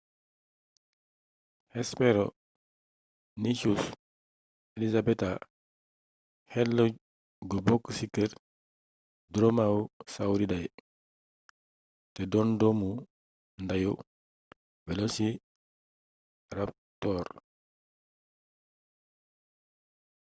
hesperonychus elizabethae xéétla gu bokk ci keer dromaeosauridae té doon doomu ndayu velociraptor